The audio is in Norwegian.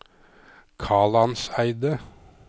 Kalandseidet